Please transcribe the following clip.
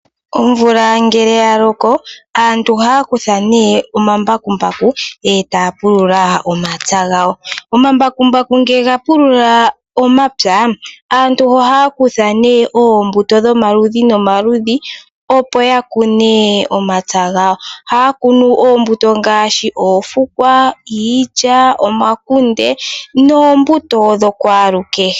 Omvula ngele yalkko aantu ohaya kutha omambakumbaku e taya pulula omapya gawo. Omambakumbaku ngele gapulula omapya aantu ohaya kutha oombuto dhomaludhi nomaludhi opo yakune omapya gawo. Ohaya kunu oombuto ngaashi oofukwa, iilya, omakunde noombuto dhokwaalukehe.